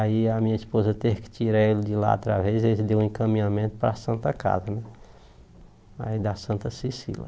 Aí a minha esposa teve que tirar ele de lá através e ele deu um encaminhamento para a Santa Casa né aí da Santa Cecília.